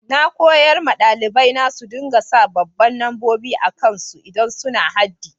Na koyar ma dalibai na su dinga sa babban lambobi akan su idan suna haddi.